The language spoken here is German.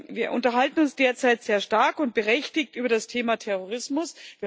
Wir unterhalten uns derzeit sehr stark und berechtigt über das Thema Terrorismus.